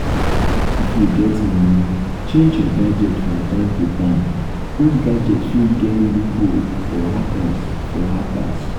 if you get money change your gadget from time to time old gadget fit get loop hole for hackers for hackers